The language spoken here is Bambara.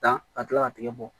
Dan ka kila ka tigɛ bɔ